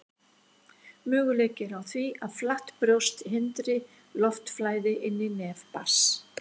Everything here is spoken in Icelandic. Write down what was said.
Möguleiki er á því að flatt brjóst hindri loftflæði inn í nef barns.